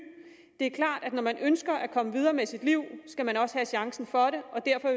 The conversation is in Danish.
det er klart at når man ønsker at komme videre med sit liv skal man også have chancen for det og derfor